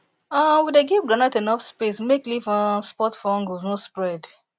um we dey give groundnut enough space make leaf um spot fungus no spread